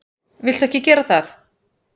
Viltu ekki gera það!